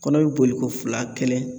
Kɔnɔ bi boli ko fila kelen